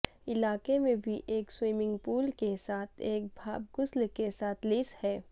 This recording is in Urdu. علاقے میں بھی ایک سوئمنگ پول کے ساتھ ایک بھاپ غسل کے ساتھ لیس ہے